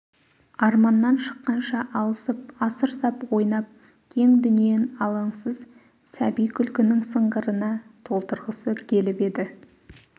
арманнан шыққанша алысып асыр сап ойнап кең дүниен алаңсыз сәби күлкінің сыңғырына толтырғысы келіп еді